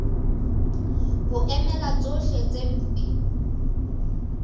ho emela tsohle tse mpe